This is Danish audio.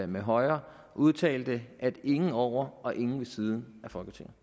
med højre udtalte ingen over og ingen ved siden af folketinget